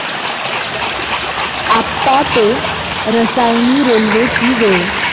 आपटा ते रसायनी रेल्वे ची वेळ